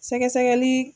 Sɛgɛsɛgɛli